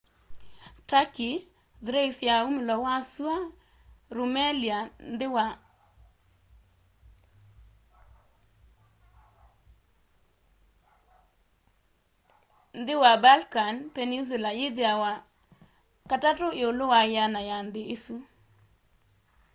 turkey thrace ya umilo wa sũana rumelia nthi wa balkan peninsula yithiawa 3 iũlũ wa 100 ya nthi isũ